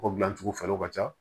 Kɔgɔ gilancogo fɛlaw ka ca